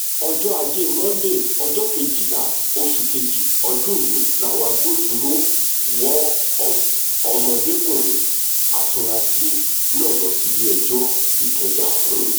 ọjọ́ ajé monde ọjọ́ kejìlá oṣù kejì ọdún yìí làwọn agbófinró wọ ọmọdékùnrin afurasí náà lọ sílé-ẹjọ́ ìkẹjà ọ̀hún